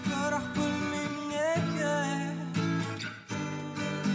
бірақ күлмеймін неге